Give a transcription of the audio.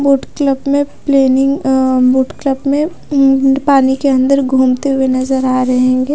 Boot club में planning uh boat club में um पानी के अंदर घूमती हुई नजर आ रहेंगे।